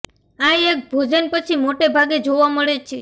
આ એક ભોજન પછી મોટે ભાગે જોવા મળે છે